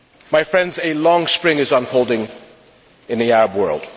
My friends, a long spring is unfolding in the Arab world.